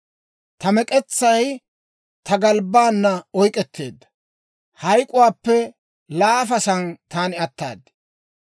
Ta mek'etsay ta galbbaana oyk'k'etteedda; hayk'k'uwaappe laafasan taani ataad.